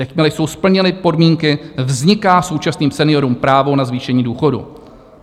Jakmile jsou splněny podmínky, vzniká současným seniorům právo na zvýšení důchodu.